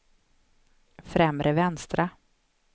främre vänstra